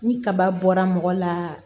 Ni kaba bɔra mɔgɔ la